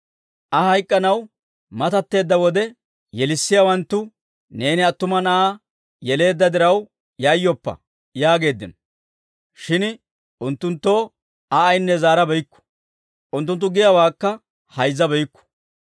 Aa hayk'k'anaw matatteedda wode, yelissiyaawanttu, «Neeni attuma na'aa yeleedda diraw yayyoppa» yaageeddino; shin unttunttoo Aa ayinne zaarabeykku; unttunttu giyaawaakka hayzzabeykku.